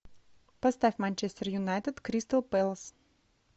поставь манчестер юнайтед кристал пэлас